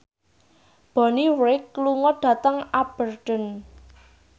Bonnie Wright lunga dhateng Aberdeen